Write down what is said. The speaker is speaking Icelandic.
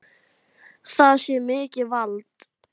Það sé mikið vald.